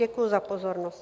Děkuji za pozornost.